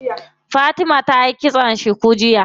Fatima tayi kitson cuku jiya.